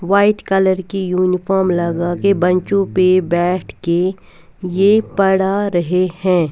White colour की uniform लगाके बैंचों पे बैठ के ये पढ़ा रहे है।